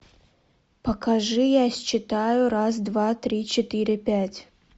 покажи я считаю раз два три четыре пять